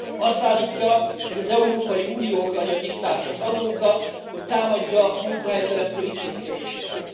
Azt állítja, hogy az Európai Unió akarja diktálni az adókat, hogy támadja a munkahelyteremtő intézkedéseket.